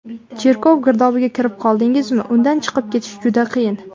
Cherkov girdobiga kirib qoldingizmi, undan chiqib ketish juda qiyin.